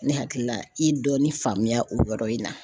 Ne hakili la i ye dɔɔni faamuya o yɔrɔ in na.